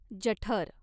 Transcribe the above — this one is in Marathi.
जठर